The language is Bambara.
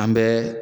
An bɛ